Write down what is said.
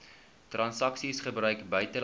transaksies gebruik buitelandse